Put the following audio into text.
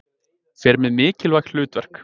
Fer með mikilvæg hlutverk.